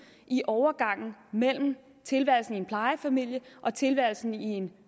i overgangen mellem tilværelsen i en plejefamilie og tilværelsen i en